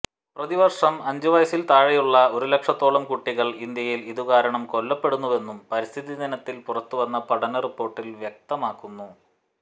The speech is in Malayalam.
പ്രതിവർഷം അഞ്ചുവയസ്സിൽ താഴെയുള്ള ഒരുലക്ഷത്തോളം കുട്ടികൾ ഇന്ത്യയിൽ ഇതുകാരണം കൊല്ലപ്പെടുന്നുവെന്നും പരിസ്ഥിതിദിനത്തിൽ പുറത്തുവന്ന പഠന റിപ്പോർട്ടിൽ വ്യക്കമാക്കുന്നു